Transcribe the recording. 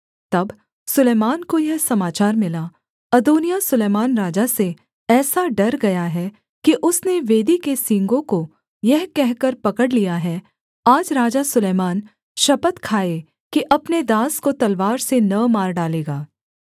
तब सुलैमान को यह समाचार मिला अदोनिय्याह सुलैमान राजा से ऐसा डर गया है कि उसने वेदी के सींगों को यह कहकर पकड़ लिया है आज राजा सुलैमान शपथ खाए कि अपने दास को तलवार से न मार डालेगा